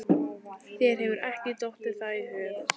Þér hefur ekki dottið það í hug?